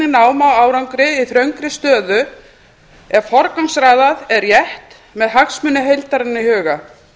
ná má árangri í þröngri stöðu ef forgangsraðað er rétt með hagsmuni heildarinnar í huga